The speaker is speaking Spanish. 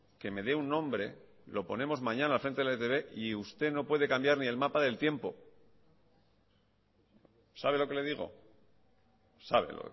que me dé un nombre lo ponemos mañana al frente de la etb y usted no puede cambiar ni el mapa del tiempo sabe lo que le digo sabe